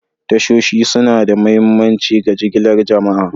Tashoshi suna da mahimmanci ga jigilar jama'a.